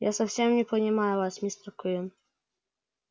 я совсем не понимаю вас мистер куинн